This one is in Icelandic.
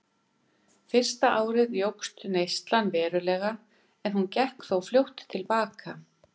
Ein þessara nafnmynda er Effersey, sem var algeng um Örfirisey við Reykjavík á síðari öldum.